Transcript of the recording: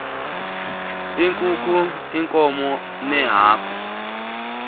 iinkukhu iinkomo neehagu